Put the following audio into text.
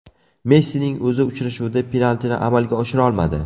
Messining o‘zi uchrashuvda penaltini amalga oshira olmadi.